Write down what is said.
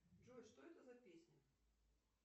джой что это за песня